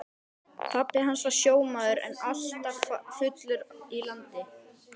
Pabbi hans var sjómaður en alltaf fullur í landi.